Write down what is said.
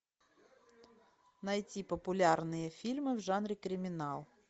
найти популярные фильмы в жанре криминал